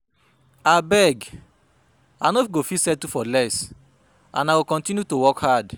Abeg I no go fit settle for less and I go continue to work hard